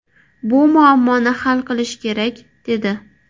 Bu muammoni hal qilish kerak”, dedi.